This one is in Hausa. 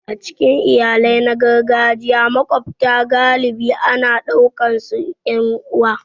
A cikin iyalai na gargajiya, maƙwabta galibi ana ɗaukarsu 'yan uwa.